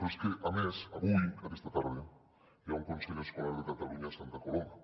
però és que a més avui aquesta tarda hi ha un consell escolar de catalunya a santa coloma